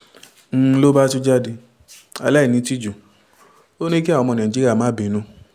n ló bá tún jáde aláìnítìjú ò ní kí àwọn ọmọ nàìjíríà má bínú